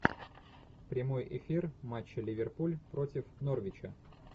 прямой эфир матча ливерпуль против норвича